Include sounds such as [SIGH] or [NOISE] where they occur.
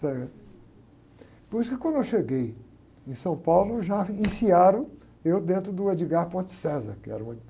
Por isso que quando eu cheguei em São Paulo, já iniciaram eu dentro do, [UNINTELLIGIBLE] que era uma...